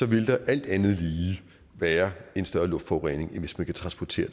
vil der alt andet lige være en større luftforurening end hvis man kan transportere